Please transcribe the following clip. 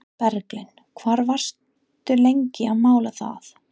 Berglind: Hvað varstu lengi að mála það?